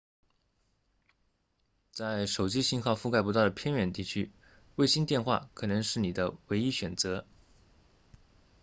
在手机信号覆盖不到的偏远地区卫星电话可能是你的唯一选择